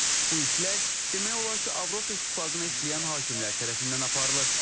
Bu işlər demək olar ki, Avropa İttifaqına işləyən hakimlər tərəfindən aparılır.